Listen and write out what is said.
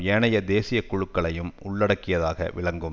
ஏனைய தேசிய குழுக்குளையும் உள்ளடக்கியதாக விளங்கும்